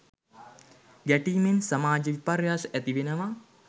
ගැටීමෙන් සමාජ විපර්යාස ඇති වෙනවා.